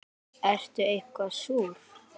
Ertu eitthvað súr?